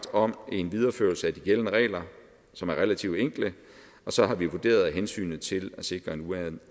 om en videreførelse af de gældende regler som er relativt enkle og så har vi vurderet at hensynet til at sikre en